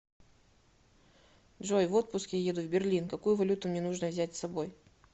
джой в отпуск я еду в берлин какую валюту мне нужно взять с собой